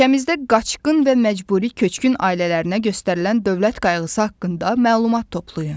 Ölkəmizdə qaçqın və məcburi köçkün ailələrinə göstərilən dövlət qayğısı haqqında məlumat toplayın.